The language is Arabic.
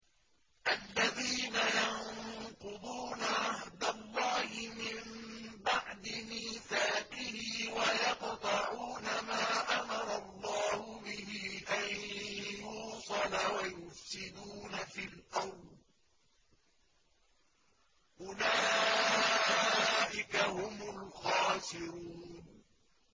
الَّذِينَ يَنقُضُونَ عَهْدَ اللَّهِ مِن بَعْدِ مِيثَاقِهِ وَيَقْطَعُونَ مَا أَمَرَ اللَّهُ بِهِ أَن يُوصَلَ وَيُفْسِدُونَ فِي الْأَرْضِ ۚ أُولَٰئِكَ هُمُ الْخَاسِرُونَ